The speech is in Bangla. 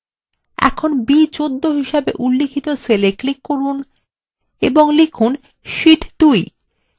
এখানে b14 হিসেবে উল্লিখিত cellএ click করুন এবং লিখুন শীট 2